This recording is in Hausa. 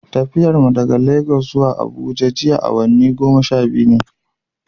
Tafiyar mu daga Lagos zuwa Abuja jiya awanni goma sha biyu ne.